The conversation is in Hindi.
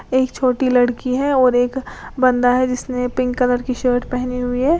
एक छोटी लड़की है और एक बंदा है जिसने पिंक कलर की शर्ट पहनी हुई है।